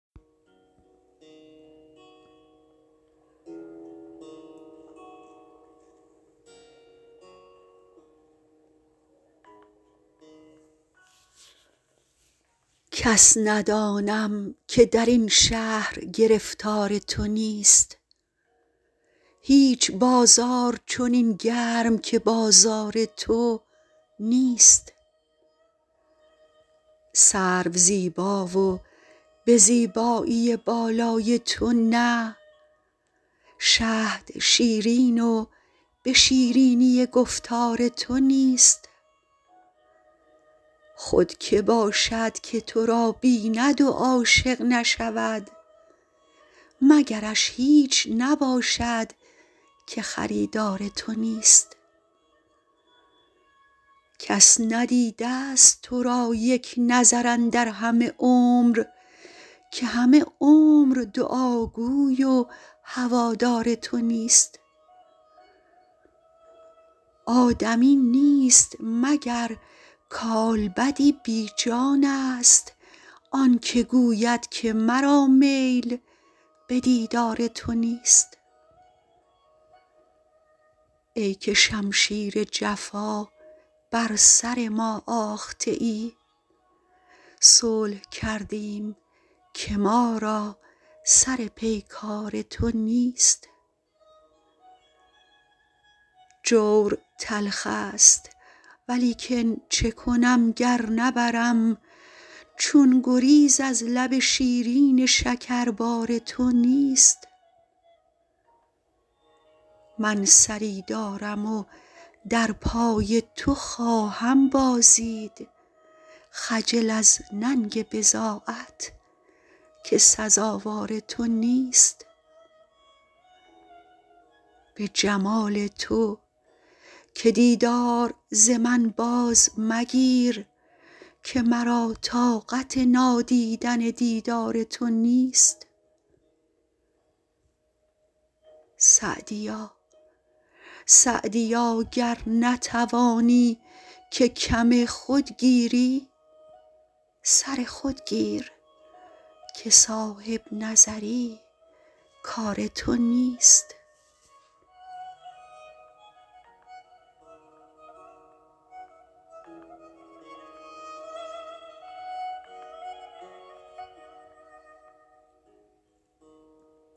کس ندانم که در این شهر گرفتار تو نیست هیچ بازار چنین گرم که بازار تو نیست سرو زیبا و به زیبایی بالای تو نه شهد شیرین و به شیرینی گفتار تو نیست خود که باشد که تو را بیند و عاشق نشود مگرش هیچ نباشد که خریدار تو نیست کس ندیده ست تو را یک نظر اندر همه عمر که همه عمر دعاگوی و هوادار تو نیست آدمی نیست مگر کالبدی بی جانست آن که گوید که مرا میل به دیدار تو نیست ای که شمشیر جفا بر سر ما آخته ای صلح کردیم که ما را سر پیکار تو نیست جور تلخ ست ولیکن چه کنم گر نبرم چون گریز از لب شیرین شکربار تو نیست من سری دارم و در پای تو خواهم بازید خجل از ننگ بضاعت که سزاوار تو نیست به جمال تو که دیدار ز من باز مگیر که مرا طاقت نادیدن دیدار تو نیست سعدیا گر نتوانی که کم خود گیری سر خود گیر که صاحب نظر ی کار تو نیست